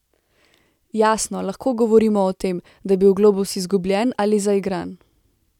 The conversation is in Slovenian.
Jasno, lahko govorimo o tem, da je bil globus izgubljen ali zaigran.